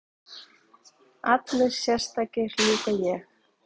Allir sérstakir, líka ég?